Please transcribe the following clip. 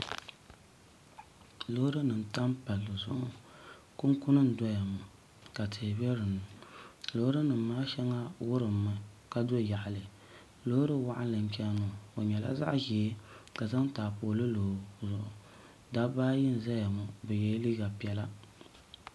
Loori nim n tam palli zuɣu ŋɔ kunkuni n doya ŋɔ ka tihi bɛ dinni loori nim maa shɛŋa wurimmi ka do yaɣali loori waɣanli n chɛni ŋɔ o nyɛla zaɣ ʒiɛ ka zaŋ taapooli loo dabba ayi nʒɛya ŋɔ bi yɛla liiga piɛla